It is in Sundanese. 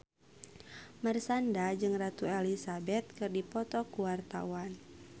Marshanda jeung Ratu Elizabeth keur dipoto ku wartawan